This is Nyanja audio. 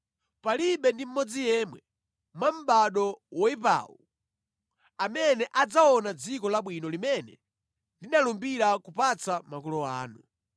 “Palibe ndi mmodzi yemwe mwa mʼbado woyipawu amene adzaona dziko labwino limene ndinalumbira kupatsa makolo anu,